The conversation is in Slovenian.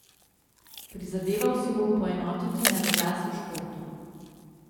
Prizadeval si bom poenotiti naš glas v športu.